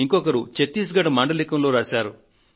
ఇంకొకరు ఛత్తీస్గఢ్ మాండలికంలో రాశారు